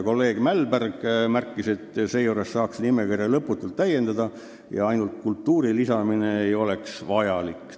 Kolleeg Mälberg märkis, et nimekirja saaks lõputult täiendada ja ainult sõna "kultuuriline" lisamine ei ole vajalik.